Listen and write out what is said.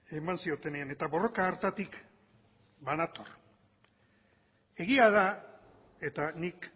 eman ziotenean eta borroka hartatik banator egia da eta nik